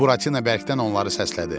Buratina bərkdən onları səslədi.